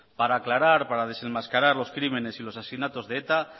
para aclarar para desenmascarar los crímenes y los asesinatos de eta